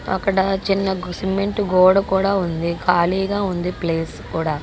అక్కడ చిన్నగు సిమెంటు గోడ కూడా ఉంది.ఖాళీగా ఉంది ప్లేస్ కూడా.